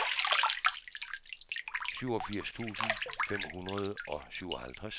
syvogfirs tusind fem hundrede og syvoghalvtreds